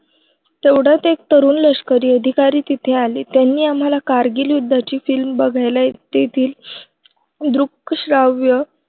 तेवढ्यात एक तरुण लष्करी अधिकारी तिथे आले त्यांनी आम्हांला कारगिल युद्धाची film बघायला तेथील दृकश्राव्य